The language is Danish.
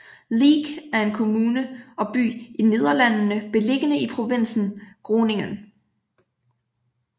Leek er en kommune og by i Nederlandene beliggende i provinsen Groningen